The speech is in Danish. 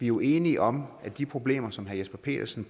jo enige om at de problemer som herre jesper petersen